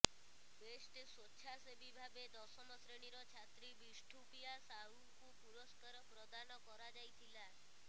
best ସ୍ୱେଚ୍ଛାସେବୀ ଭାବେ ଦଶମ ଶ୍ରେଣୀର ଛାତ୍ରୀ ବିଷ୍ଠୁପିୟା ସାହୁଙ୍କୁ ପୁରଷ୍କାର ପ୍ରଦାନ କରାଯାଇଥିଲା